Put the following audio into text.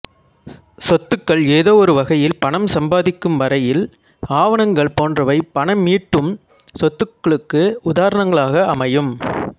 சொத்துகள் ஏதோ ஒரு வகையில் பணம் சம்பாதிக்கும் வரையில் ஆவணங்கள் போன்றவை பணமீட்டும் சொத்துகளுக்கு உதாரணங்களாக அமையும்